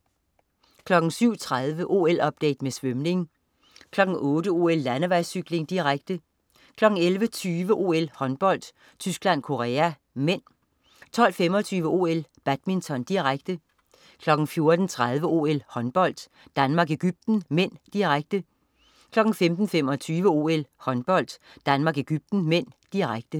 07.30 OL-update med svømning 08.00 OL: Landevejscykling, direkte 11.20 OL: Håndbold. Tyskland-Korea (m) 12.25 OL: Badminton, direkte 14.30 OL: Håndbold. Danmark-Egypten (m), direkte 15.25 OL: Håndbold. Danmark-Egypten (m), direkte